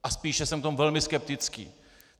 A spíše jsem v tom velmi skeptický.